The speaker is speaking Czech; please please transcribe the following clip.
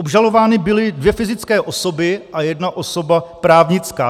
Obžalovány byly dvě fyzické osoby a jedna osoba právnická.